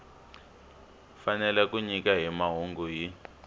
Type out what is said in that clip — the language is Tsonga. fanele ku nyika mahungu hi